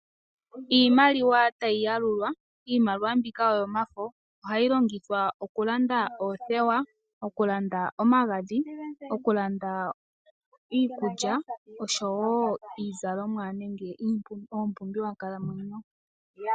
Iimaliwa tayi yalulwa iimaliwa mbika oyomafo ohayi longithwa okulanda othewa, okulanda omagadhi, okulanda iikulya niizalomwa nenge oompumbiwa dhonkalamwenyo.